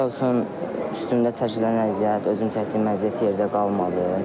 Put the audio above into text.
Şükürlər olsun üstümdə çəkilən əziyyət, özüm çəkdiyim əziyyət yerdə qalmadı.